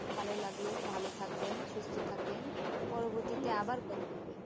ভালো লাগলো ভালো থাকবেন সুস্থ থাকবেন পরবর্তীতে আবার কথা হবে